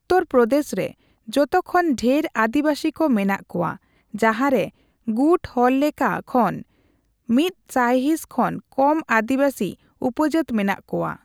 ᱩᱛᱛᱚᱨ ᱯᱨᱚᱫᱮᱥ ᱨᱮ ᱡᱚᱛᱚ ᱠᱷᱚᱱ ᱰᱷᱮᱨ ᱟᱹᱫᱤᱣᱟᱥᱤ ᱠᱚ ᱢᱮᱱᱟᱜ ᱠᱚᱣᱟ, ᱡᱟᱦᱟᱸ ᱨᱮ ᱜᱩᱴ ᱦᱚᱲᱞᱮᱠᱷᱟ ᱠᱷᱚᱱ ᱑ ᱥᱟᱭᱦᱤᱸᱥ ᱠᱷᱚᱱ ᱠᱚᱢ ᱟᱹᱫᱤᱣᱟᱹᱥᱤ ᱩᱯᱡᱟᱹᱛ ᱢᱮᱱᱟᱜ ᱠᱚᱣᱟ ᱾